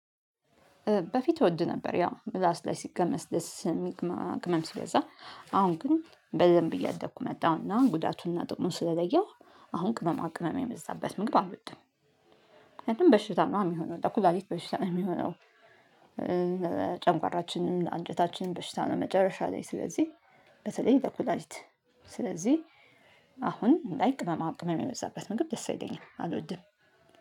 በፊት እወድ ነበር ያው ምላስ ላይ ሲቀመስ ደስ ስለሚል ቅመማ ቅመም ሲበዛ አሁን ግን በደንብ እያደኩ መጣሁና ጉዳቱንና ጥቅሙን ስለለየው አሁን ቅመማ ቅመም የበዛበት ምግብ አልወድም። ምክንያቱም በሽታ ነው የሚሆነው ለኩላሊት በሽታ ነው የሚሆነው። ጨጓራችንን አንጀታችንን በሽታ ነው መጨረሻ ላይ ስለዚህ በተለይ ለኩላሊት። ስለዚህ አሁን ላይክ ቅመማ ቅመም የበዛበት ምግብ ደስ አይለኝም አልወድም።